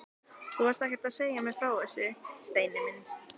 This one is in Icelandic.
Þú varst ekkert að segja mér frá þessu, Steini minn!